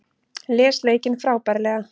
Les leikinn frábærlega